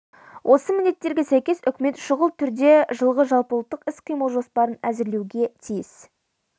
осы міндеттерге сәйкес үкімет шұғыл түрде жылғы жалпыұлттық іс-қимыл жоспарын әзірлеуі тиіс